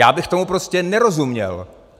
Já bych tomu prostě nerozuměl.